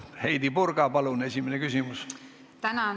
Heidy Purga, palun, esimene küsimus!